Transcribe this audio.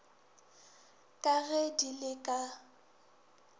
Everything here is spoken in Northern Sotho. ka ge di le ka